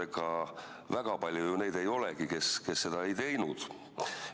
Ega väga palju neid ju ei olegi, kes seda ei teinud.